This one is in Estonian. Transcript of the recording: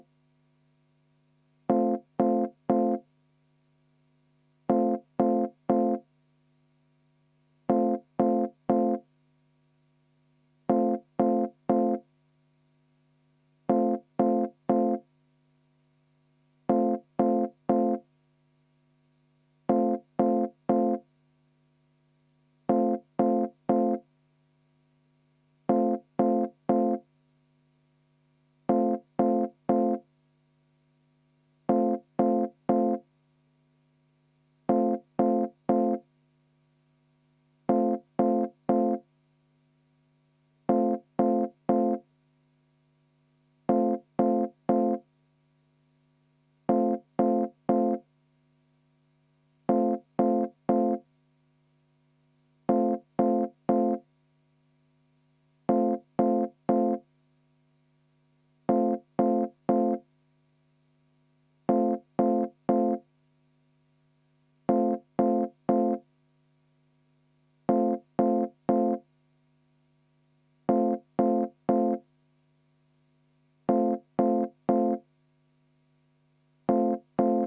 V a h e a e g